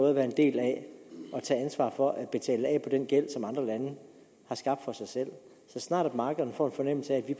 at være en del af at tage ansvaret for at betale af på den gæld som andre lande har skabt for sig selv så snart at markederne får en fornemmelse af at vi